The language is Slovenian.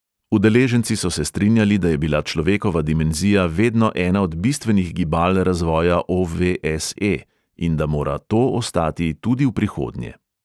Udeleženci so se strinjali, da je bila človekova dimenzija vedno ena od bistvenih gibal razvoja o|ve|es|e in da mora to ostati tudi v prihodnje.